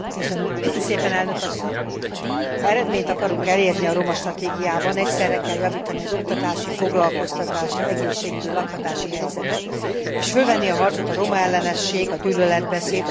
Ha eredményt akarunk elérni a romastratégiában, egyszerre kell javítani az oktatási, foglalkoztatási, egészségügyi, lakhatási helyzetet és fölvenni a harcot a romaellenesség, a gyűlöletbeszéd, a romákat sújtó diszkrimináció ellen.